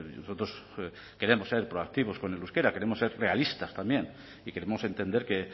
nosotros queremos ser proactivos con el euskera queremos ser realistas también y queremos entender que